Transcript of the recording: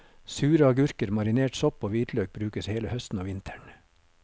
Sure agurker, marinert sopp og hvitløk brukes hele høsten og vinteren.